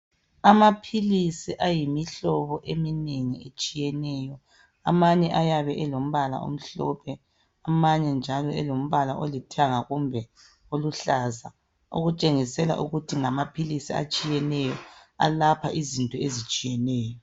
Amaphilisi ayimihlobo eminengi etshiyeneyo amanye ayabe elombala omhlophe amanye njalo alombala olithanga kumbe oluhlaza okutshengisela ukuthi ngamaphilisi atshiyeneyo alapha izinto ezitshiyeneyo.